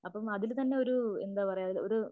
അപ്പോ അതില് തന്നെ എന്താ പറയാ ഒരു